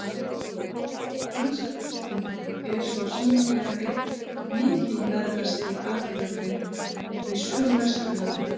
Franska byltingin er svo sannarlega einn mikilverðasti atburðurinn í sögu Vesturlanda.